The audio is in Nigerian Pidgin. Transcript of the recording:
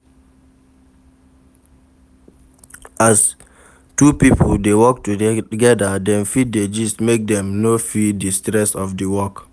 As two pipo de work together dem fit de gist make Dem no feel di stress of di work